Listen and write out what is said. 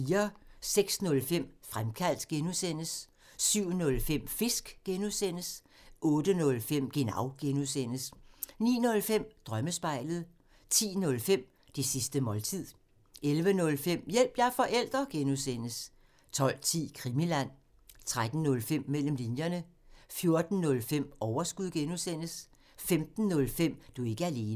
06:05: Fremkaldt (G) 07:05: Fisk (G) 08:05: Genau (G) 09:05: Drømmespejlet 10:05: Det sidste måltid 11:05: Hjælp – jeg er forælder! (G) 12:10: Krimiland 13:05: Mellem linjerne 14:05: Overskud (G) 15:05: Du er ikke alene